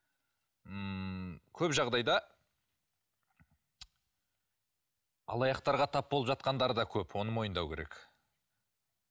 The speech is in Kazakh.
ммм көп жағдайда алаяқтарға тап болып жатқандар да көп оны мойындау керек